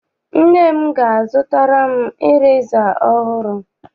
Nne m ga- azụtara m ireza ọhụrụ.